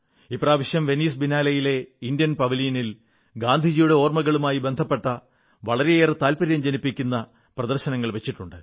ഇപ്രാവശ്യം വെനീസ് ബിനാലെയിലെ ഇന്ത്യൻ പവലിയനിൽ ഗാന്ധിജിയുടെ ഓർമ്മകളുമായി ബന്ധപ്പെട്ട വളരെയേറെ താത്പര്യം ജനിപ്പിക്കുന്ന പ്രദർശനങ്ങൾ വച്ചു